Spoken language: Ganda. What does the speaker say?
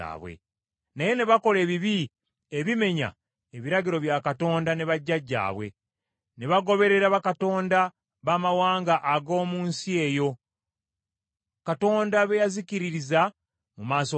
Naye ne bakola ebibi ebimenya ebiragiro bya Katonda wa bajjajjaabwe, ne bagoberera bakatonda baamawanga ag’omu nsi eyo, Katonda be yazikiririza mu maaso gaabwe.